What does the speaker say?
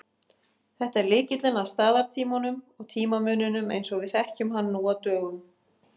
Þetta er lykillinn að staðartímanum og tímamuninum eins og við þekkjum hann nú á dögum.